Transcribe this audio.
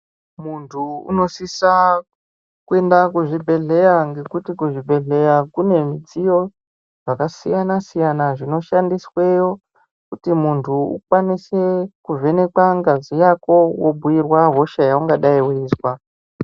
Munthu unosisa kuenda kuzvibhedhleya ngekuti kuzvibhedhleya kune zvidziyo zvakasiyana-siyana zvinoshandisweyo kuti munthu ukwanise kuvhenekwa ngazi Yako wobhuirwa hosha yaungadai weizwa.